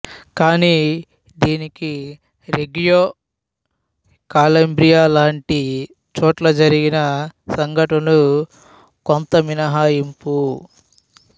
కాని దీనికి రెగ్గియో కాలాబ్రియాలాంటి చోట్ల జరిగిన సంఘటనలు కొంత మినహాయింపు